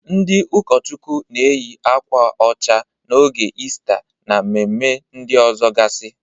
Ndị ụkọchụkwụ na-eyị akwa ọcha n'oge Istaa, na mmemme ndị ọzọgasị.